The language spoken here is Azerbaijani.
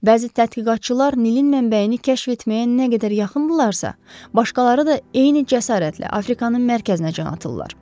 Bəzi tədqiqatçılar Nilin mənbəyini kəşf etməyə nə qədər yaxındırlarsa, başqaları da eyni cəsarətlə Afrikanın mərkəzinə can atırlar.